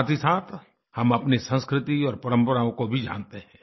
साथहीसाथ हम अपनी संस्कृति और परम्पराओं को भी जानते हैं